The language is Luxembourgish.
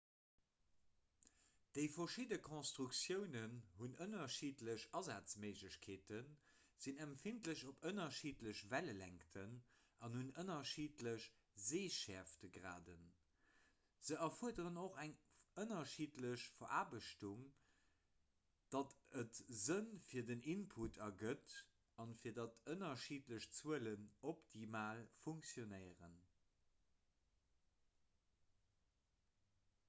déi verschidde konstruktiounen hunn ënnerschiddlech asazméiglechkeeten sinn empfindlech op ënnerschiddlech wellelängten an hunn ënnerschiddlech seeschäerftgraden se erfuerderen och eng ënnerschiddlech veraarbechtung datt et sënn fir den input ergëtt an fir datt ënnerschiddlech zuelen optimal funktionéieren